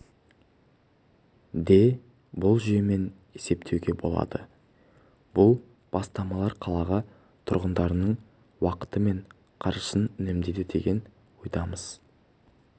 де бұл жүйемен есептеуге болады бұл бастамалар қала тұрғындарының уақыты мен қаржысын үнемдейді деген ойдамыз